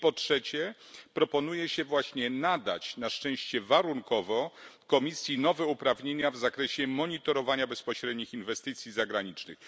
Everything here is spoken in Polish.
I po trzecie, proponuje się właśnie nadać na szczęście warunkowo Komisji nowe uprawnienia w zakresie monitorowania bezpośrednich inwestycji zagranicznych.